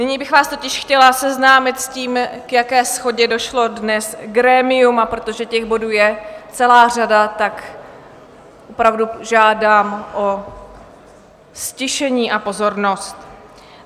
Nyní bych vás totiž chtěla seznámit s tím, k jaké shodě došlo dnes grémium, a protože těch bodů je celá řada, tak opravdu žádám o ztišení a pozornost.